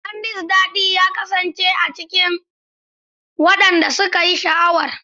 Candy's dadi ya kasance a bakin wadanda suka yi sha'awar.